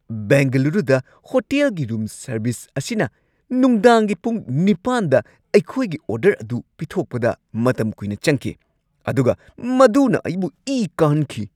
ꯕꯦꯡꯒꯂꯨꯔꯨꯗ ꯍꯣꯇꯦꯜꯒꯤ room service ꯑꯁꯤꯅ ꯅꯨꯡꯗꯥꯡꯒꯤ ꯄꯨꯡ ꯸ꯗ ꯑꯩꯈꯣꯏꯒꯤ ꯑꯣꯔꯗꯔ ꯑꯗꯨ ꯄꯤꯊꯣꯛꯄꯗ ꯃꯇꯝ ꯀꯨꯏꯅ ꯆꯪꯈꯤ, ꯑꯗꯨꯒ ꯃꯗꯨꯅ ꯑꯩꯕꯨ ꯏ ꯀꯥꯍꯟꯈꯤ ꯫